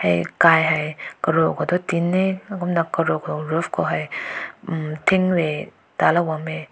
eh kai hai karu ko tin he kumna karu ko roof ko hai hmm tik meh talo.